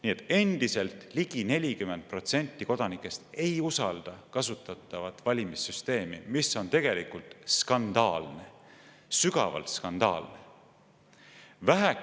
Nii et endiselt ligi 40% kodanikest ei usalda kasutatavat valimissüsteemi, mis on tegelikult skandaalne, õigemini sügavalt skandaalne!